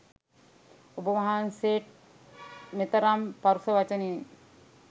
ඔබ වහන්සේට් මෙතරම් පරුෂ වචනයෙන්